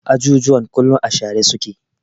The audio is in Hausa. Ajujuwan kullum a share su ke.